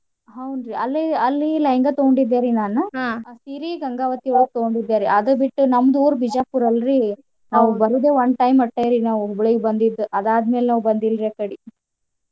ಹೌನ್ರೀ ಅಲ್ಲಿ ಅಲ್ಲಿ lehanga ತುಗೊಂಡಿದ್ದೇರೀ ನಾನು . ಆ ಸೀರಿ ಗಂಗಾವತಿ ಒಳ್ಗ ತುಗೊಂಡಿದ್ದೇ ರೀ ಅದು ಬಿಟ್ಟು ನಮ್ದ್ ಊರು ಬಿಜಾಪುರ ಅಲ್ರೀ ನಾವ್ ಬರುದ್ one time ಅಟ್ಟ ರೀ ನಾವ್ ಹುಬ್ಳಿಗ್ ಬಂದಿದ್ದುಅದಾದ್ ಮೇಲ್ ನಾವ್ ಬಂದಿಲ್ರೀ ಆ ಕಡಿ.